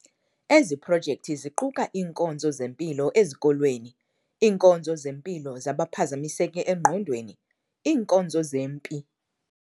Ezi projekthi ziquka iinkonzo zempilo ezikolweni, iinkonzo zempilo zabaphazamiseke engqondweni, iinkonzo zempi